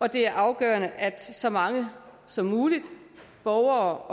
og det er afgørende at så mange som muligt borgere